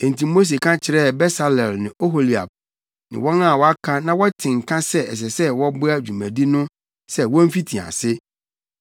Enti Mose ka kyerɛɛ Besaleel ne Oholiab ne wɔn a wɔaka na wɔte nka sɛ ɛsɛ sɛ wɔboa dwumadi no sɛ womfiti ase.